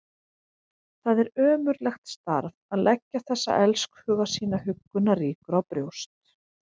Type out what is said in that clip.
Það er ömurlegt starf að leggja þessa elskhuga sína huggunarríkur á brjóst.